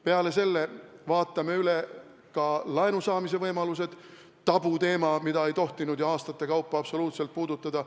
Peale selle vaatame üle laenu saamise võimalused – tabuteema, mida ei tohtinud ju aastaid absoluutselt puudutada.